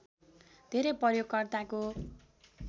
धेरै प्रयोगकर्ताको